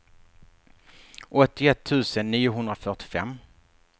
åttioett tusen niohundrafyrtiofem